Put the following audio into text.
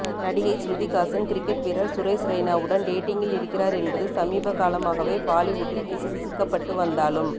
நடிகை ஸ்ருதிஹாசன் கிரிக்கெட் வீரர் சுரேஷ் ரெய்னாவுடன் டேடிங்கில் இருக்கிறார் என்பது சமீப காலமாகவே பாலிவுட்டில் கிசுகிசுக்கப்பட்டு வந்தாலும்